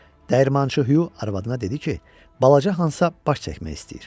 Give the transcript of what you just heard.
Dəyirmançı Hyu arvadına dedi ki, balaca Hansa baş çəkmək istəyir.